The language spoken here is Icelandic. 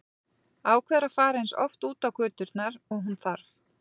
Ákveður að fara eins oft út á göturnar og hún þarf.